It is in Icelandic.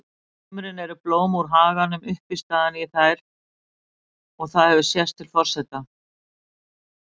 sumrin eru blóm úr haganum uppistaðan í þær og það hefur sést til forseta